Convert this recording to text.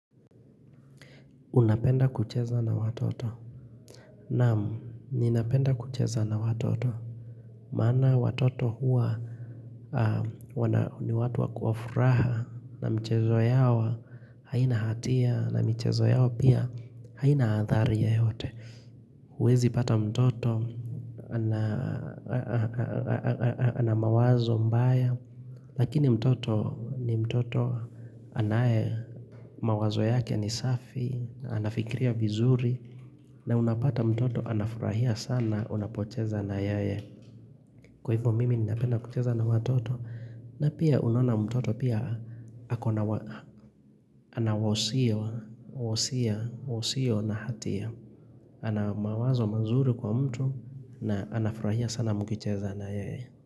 Unapenda kucheza na watoto. Naamu, ninapenda kucheza na watoto. Maana watoto huwa ni watu wa kuafuraha na mchezo yao haina hatia na mchezo yao pia haina hadhara yoyote. Huwezi pata mtoto, ana mawazo mbaya. Lakini mtoto ni mtoto anaye mawazo yake ni safi, anafikiria vizuri. Na unapata mtoto anafurahia sana unapocheza na yeye. Kwa hivyo mimi ninapenda kucheza na watoto. Na pia unaona mtoto pia ako na wosia, wosia, usiyo na hatia. Ana mawazo mazuri kwa mtu na anafurahia sana mkicheza na yeye.